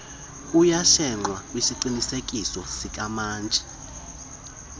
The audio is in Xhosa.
kuyashenxwa kwisiqinisekiso sikamantyi